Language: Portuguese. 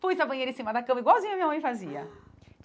Pus a banheira em cima da cama, igualzinho a minha mãe fazia.